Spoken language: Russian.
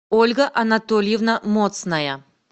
ольга анатольевна моцная